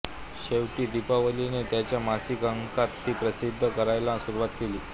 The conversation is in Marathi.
शेवटी दीपावलीने त्यांच्या मासिक अंकांत ती प्रसिद्ध करायला सुरूवात केली